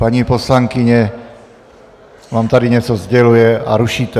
Paní poslankyně vám tady něco sděluje a rušíte.